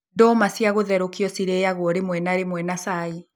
Ndũma cia gũtherũkio cirĩyagwo rĩmwe na rĩmwe na cai